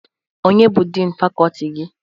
Onye bụ din fakọti gị?